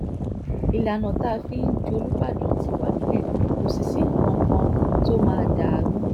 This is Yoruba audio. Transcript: ìlànà tá a fi ń jòlúbàdán ti wà nílẹ̀ kò sì sí nǹkan kan tó máa dà á rú